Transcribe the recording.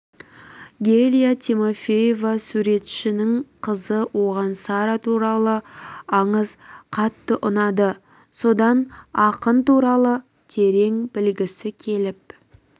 гелия тимофеева суретшінің қызы оған сара туралы аңыз қатты ұнады содан ақын туралы терең білгісі келіп